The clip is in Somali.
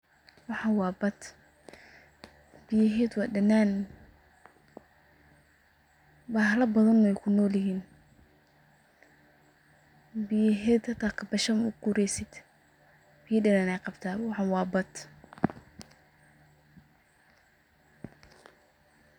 Waxan wa baad biyaheduna wa danaan bahalo badana weykunolyihin, biyaheda xita kabasho mauqureysid biyo danaan ayey qabta waxan wa baad.